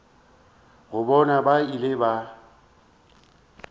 ga bona ba ile ba